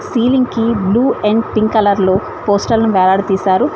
Ceiling కి blue and pink colour లో పోస్టర్లను వేలాడదిశారు.